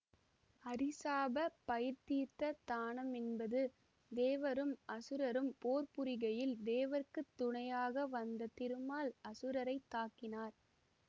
அரிசாப பயந்தீர்த்த தானமென்பது தேவரும் அசுரரும் போர் புரிகையில் தேவர்க்குத் துணையாக வந்த திருமால் அசுரரைத் தாக்கினர்